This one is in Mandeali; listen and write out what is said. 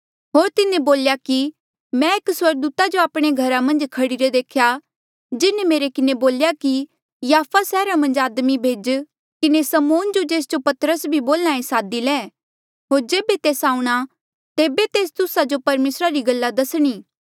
होर तिन्हें बोल्या कि मैं एक स्वर्गदूता जो आपणे घरा मन्झ खड़ीरे देख्या जिन्हें मेरे किन्हें बोल्या कि याफा सैहरा मन्झ आदमी भेजी किन्हें समौन जो जेस जो पतरस भी बोल्हा ऐें सादी ले होर जेबे तेस आऊंणा तेबे तेस तुस्सा जो परमेसरा री गल्ला दसणी